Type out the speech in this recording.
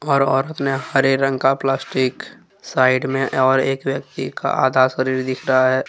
और औरत ने हरे रंग का प्लास्टिक साइड में और एक व्यक्ति का आधा शरीर दिख रहा है।